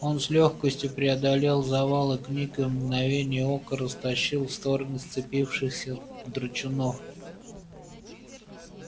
он с лёгкостью преодолел завалы книг и в мгновение ока растащил в стороны сцепившихся драчунов